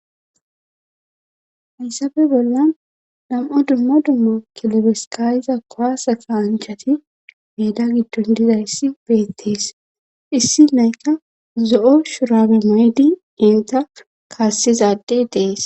Hassafe bollan nam'a dumma dummo kilobeskayiza kowasa kaanchati meeda giddon dizayssi beettees issi naykka zo'o shurabe maydi inta kaassizaadde dees